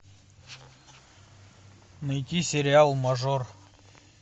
найди сериал мажор